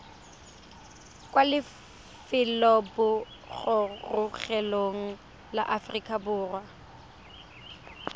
kwa lefelobogorogelong la aforika borwa